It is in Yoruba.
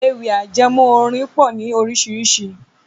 Ewì ajẹmó orin pọ̀ ni orísirísi